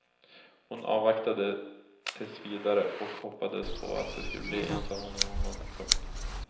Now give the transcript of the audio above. Hon avvaktade tills vidare och hoppades att de skulle bli ensamma någon gång. punkt